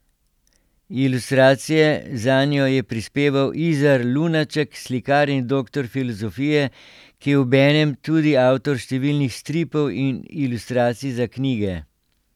Ilustracije zanjo je prispeval Izar Lunaček, slikar in doktor filozofije, ki je obenem tudi avtor številnih stripov in ilustracij za knjige.